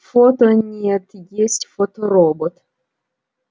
фото нет есть фоторобот